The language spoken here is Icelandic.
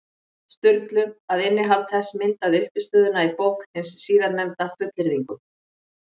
Sturlu, að innihald þess myndaði uppistöðuna í bók hins síðarnefnda, fullyrðingum.